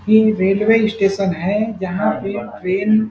ये railway station है जहाँ पे ट्रैन --